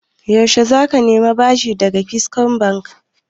Yaushe za ka nemi bashin daga Keystone Bank?